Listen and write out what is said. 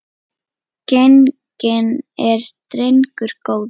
Genginn er drengur góður.